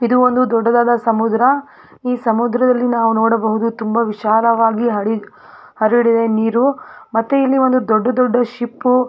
ಇದು ಒಂದು ದೊಡ್ಡದಾದ ಸಮುದ್ರ ಈ ಸಮುದ್ರದಲ್ಲಿ ನಾವು ನೋಡಬಹುದು ತುಂಬಾ ವಿಶಾಲವಾಗಿ ಹಳಿ ಹರಡಿವೆ ನೀರು ಮತ್ತು ಇಲ್ಲಿ ಒಂದು ದೊಡ್ಡ ದೊಡ್ಡ ಶಿಪ್ .